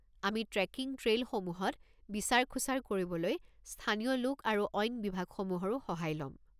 আমি ট্ৰেকিং ট্ৰেইলসমূহত বিচাৰ-খোঁচাৰ কৰিবলৈ স্থানীয় লোক আৰু অইন বিভাগসমূহৰো সহায় লম।